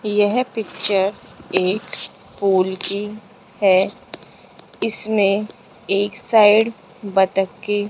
यह पिक्चर एक पुल की है इसमें एक साइड बत्तख --